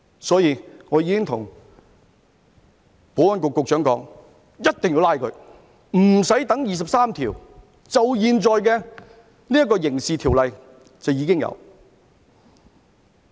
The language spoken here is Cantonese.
所以，我已經對保安局局長說，一定要拘捕他們，不用等第二十三條立法，現在就有《刑事罪行條例》。